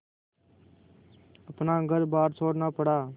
अपना घरबार छोड़ना पड़ा